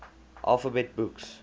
alphabet books